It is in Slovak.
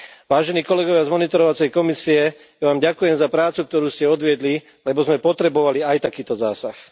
Vážení kolegovia z monitorovacej komisie, ja Vám ďakujem za prácu, ktorú ste odviedli, lebo sme potrebovali aj takýto zásah.